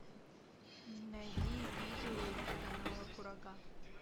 найди видео с канала курага